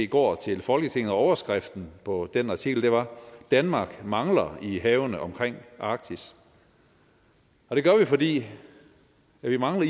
går til folketinget og overskriften på den artikel var danmark mangler i havene omkring arktis og det gør vi fordi vi mangler